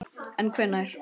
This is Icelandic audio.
En hvenær?